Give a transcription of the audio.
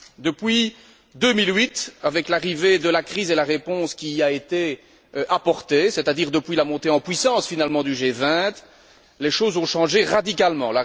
Depuis 2008, avec l'arrivée de la crise et la réponse qui a été apportée, c'est à dire depuis la montée en puissance finalement du G20, les choses ont changé radicalement.